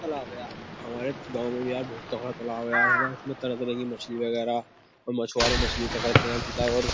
तालाब है यार। हमारे गाँव में भी यार बहुत तगड़ा तालाब है यार। है ना उसमें तरह-तरह की मछली वगैरह और मछुआरे मछ्ली पकड़ते हैं। और --